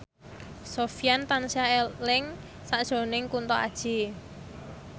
Sofyan tansah eling sakjroning Kunto Aji